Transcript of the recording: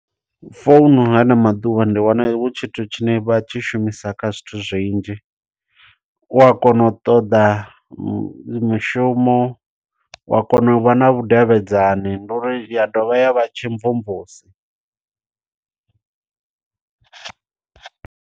Founu nga ano maḓuvha ndi wana hu tshithu tshine vha tshi shumisa kha zwithu zwinzhi. U a kona u ṱoḓa mushumo, wa kona u vha na vhudavhidzani, ndi uri ya dovha ya vha tshimvumvusi.